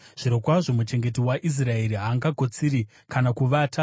zvirokwazvo, muchengeti waIsraeri haangakotsiri kana kuvata.